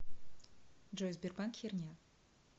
джой сбербанк херня